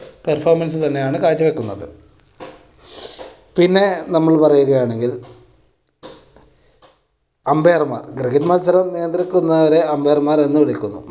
perfomance തന്നെയാണ് കാഴ്ച വെക്കുന്നത്. പിന്നെ നമ്മൾ പറയുകയാണെങ്കിൽ umpire മാർ cricket മത്സരം നിയന്ത്രിക്കുന്നവരെ umpire മാർ എന്ന് വിളിക്കുന്നു.